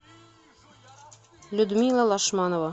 людмила лашманова